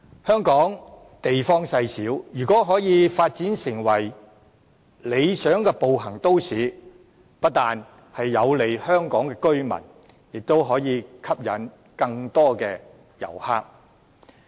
香港地方細小，如果可以發展成為理想的步行都市，不但有利香港居民，也可以吸引更多旅客。